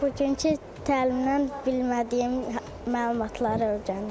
Bugünkü təlimdən bilmədiyim məlumatları öyrəndim.